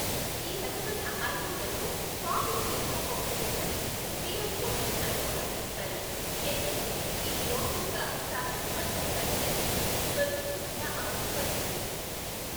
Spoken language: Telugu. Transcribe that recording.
ఈ రకమైన ఐఓఎల్ను ఫాకిక్ ఇంట్రాకోక్యులర్ లెన్స్ , పిఐఓఎల్ అని కూడా పిలుస్తారు, ఎందుకంటే ఇది రోగి యొక్క సహజ స్ఫటికాకార లెన్స్ను తొలగించకుండా అమర్చబడుతుంది.